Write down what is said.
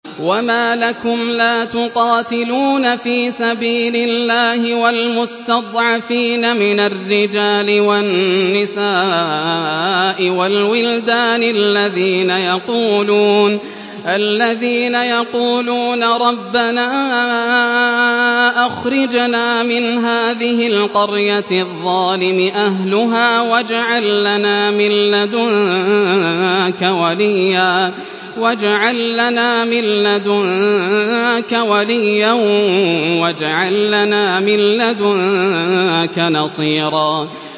وَمَا لَكُمْ لَا تُقَاتِلُونَ فِي سَبِيلِ اللَّهِ وَالْمُسْتَضْعَفِينَ مِنَ الرِّجَالِ وَالنِّسَاءِ وَالْوِلْدَانِ الَّذِينَ يَقُولُونَ رَبَّنَا أَخْرِجْنَا مِنْ هَٰذِهِ الْقَرْيَةِ الظَّالِمِ أَهْلُهَا وَاجْعَل لَّنَا مِن لَّدُنكَ وَلِيًّا وَاجْعَل لَّنَا مِن لَّدُنكَ نَصِيرًا